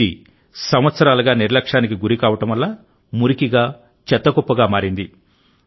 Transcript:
ఇది సంవత్సరాలుగా నిర్లక్ష్యానికి గురి కావడం వల్ల మురికిగా చెత్త కుప్పగా మారింది